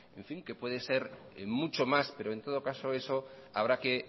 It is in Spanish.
que puede ser mucho más pero en todo caso eso habrá